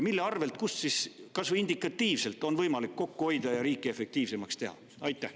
Mille arvel on kas või indikatiivselt võimalik kokku hoida ja riiki efektiivsemaks teha?